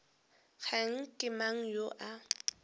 kgane ke mang yo a